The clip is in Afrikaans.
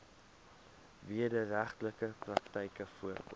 wederregtelike praktyke voorkom